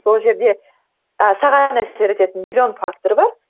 сол жерде ы саған әсер ететін миллион фактор бар